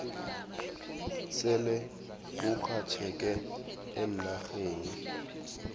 sele burhatjheke eenarheni